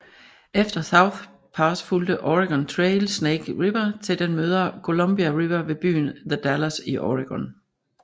Efter South Pass fulgte Oregon Trail Snake River til den møder Columbia River ved byen The Dalles i Oregon